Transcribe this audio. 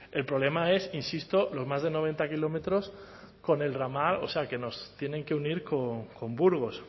el problema es insisto los más de noventa kilómetros con el ramal o sea que nos tienen que unir con burgos